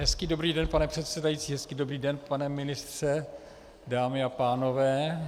Hezký dobrý den, pane předsedající, hezký dobrý den, pane ministře, dámy a pánové.